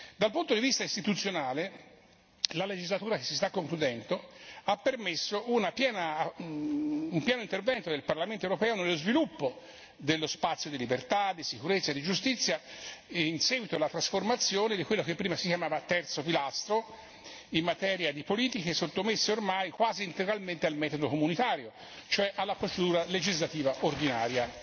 Dal punto di vista istituzionale, la legislatura che si sta concludendo ha permesso un pieno intervento del Parlamento europeo nello sviluppo dello spazio di libertà, di sicurezza e di giustizia in seguito alla trasformazione di quello che prima si chiamava terzo pilastro in materia di politica, che è sottomesso ormai, quasi integralmente, al metodo comunitario, cioè alla procedura legislativa ordinaria.